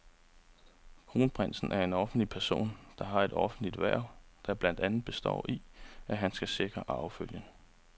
Kronprinsen er en offentlig person, der har et offentligt hverv, der blandt andet består i, at han skal sikre arvefølgen.